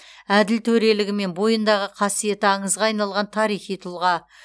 әділ төрелігі мен бойындағы қасиеті аңызға айналған тарихи тұлға